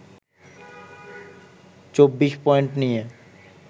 ২৪ point নিয়ে